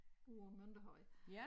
Ude på Mønterhøj